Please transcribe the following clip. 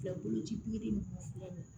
Boloci